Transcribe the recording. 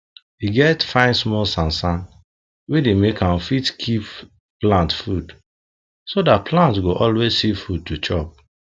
e get fine small sand sand wey dey make am fit keep plant food so that plant go always see food to chop